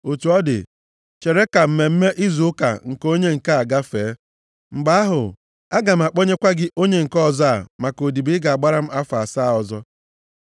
Otu ọ dị, chere ka mmemme izu ụka nke onye nke a gafee. Mgbe ahụ, aga m akpọnyekwa gị onye nke ọzọ a maka odibo ị ga-agbara m afọ asaa ọzọ.”